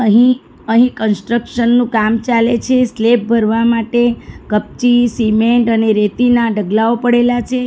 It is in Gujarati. હી અહીં કન્સ્ટ્રક્શનનું કામ ચાલે છે સ્લેબ ભરવા માટે કપચી સિમેન્ટ અને રેતીના ઢગલાઓ પડેલા છે.